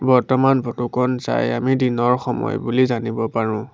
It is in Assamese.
বৰ্তমান ফটো খন চাই আমি দিনৰ সময় বুলি জানিব পাৰোঁ।